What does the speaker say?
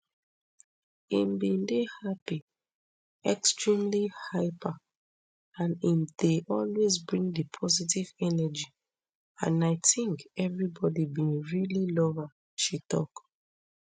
im bin dey happy extremely hyper and im dey always bring di positive energy and i tink evribodi bin really love am she tok